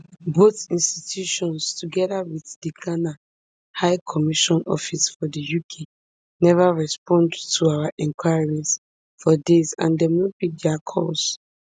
both institutions togeda wit di ghana high commission office for di uk neva respond to our enquiries for days and dem no pick dia calls